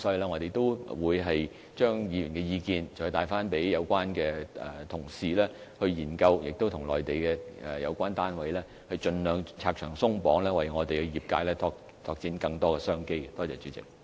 我們會將議員的意見轉達給有關的同事研究，並與內地的有關單位商議，盡量"拆牆鬆綁"，為香港業界拓展更多商機。